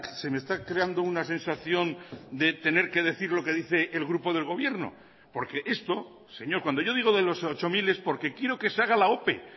se me está creando una sensación de tener que decir lo que dice el grupo del gobierno porque esto señor cuando yo digo de los ocho mil es porque quiero que se haga la ope